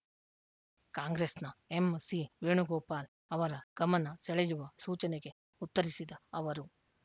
ಕಾಂಗ್ರೆಸ್‌ನ ಎಂಸಿವೇಣುಗೋಪಾಲ್‌ ಅವರ ಗಮನ ಸೆಳೆಯುವ ಸೂಚನೆಗೆ ಉತ್ತರಿಸಿದ ಅವರು